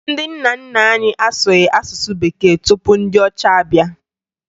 Ndị nna nna anyị asụghị asụsụ bekee tupu ndị ọcha abịa